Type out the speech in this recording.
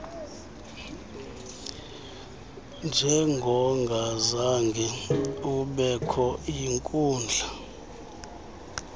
njengongazange ubekho yinkundla